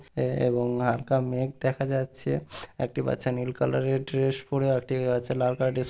এ-এবং হাল্কা মেঘ দেখা যাচ্ছে একটি বাচ্চা নীল কালার -এর ড্রেস পরে আর একটি বাচ্চা লাল কালার -এর ড্রেস --